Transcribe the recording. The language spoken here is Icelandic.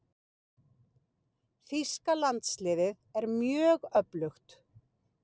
Þýska landsliðið er mjög öflugt.